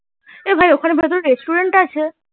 এ ভাই ওখানে কোনো restaurant আছে